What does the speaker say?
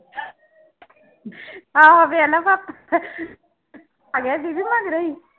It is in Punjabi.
ਆਹੋ ਫਿਰ ਨਾ ਭਾਪਾ ਆ ਗਿਆ ਬੀਬੀ ਮਗਰੇ ਹੀ